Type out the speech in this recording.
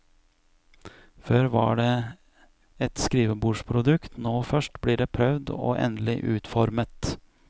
Før var det et skrivebordsprodukt, nå først blir det prøvd og endelig utformet.